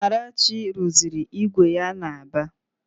Amarachi rụziri ígwè ya n'Aba